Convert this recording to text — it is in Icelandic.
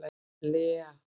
Lea